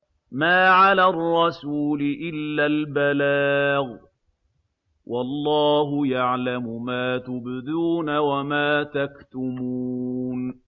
مَّا عَلَى الرَّسُولِ إِلَّا الْبَلَاغُ ۗ وَاللَّهُ يَعْلَمُ مَا تُبْدُونَ وَمَا تَكْتُمُونَ